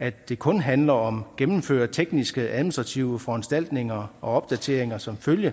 at det kun handler om at gennemføre tekniske administrative foranstaltninger og opdateringer som følge